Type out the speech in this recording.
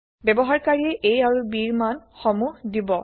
ব্যৱহাৰকাৰিয়ে a আৰু b ৰ মান সমুহ দিব